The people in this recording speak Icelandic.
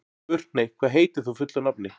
Burkney, hvað heitir þú fullu nafni?